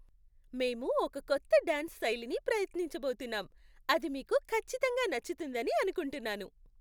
మేము ఒక కొత్త డాన్స్ శైలిని ప్రయత్నించబోతున్నాం, అది మీకు ఖచ్చితంగా నచ్చుతుందని అనుకుంటున్నాను.